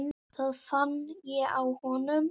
Það fann ég á honum.